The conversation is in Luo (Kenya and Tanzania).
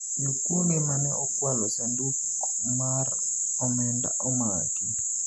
jokuoge mane okwalo sanduk mar omenda omaki